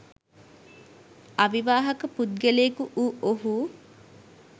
අවිවාහක පුද්ගලයෙකු වූ ඔහු